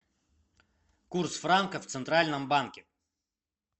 курс франка в центральном банке